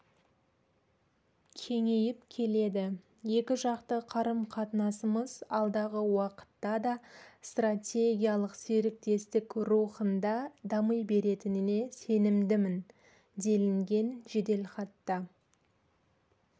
кеңейіп келеді екіжақты қарым-қатынасымыз алдағы уақытта да стратегиялық серіктестік рухында дами беретініне сенімдімін делінген жеделхатта